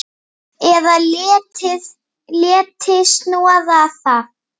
Eða léti snoða það.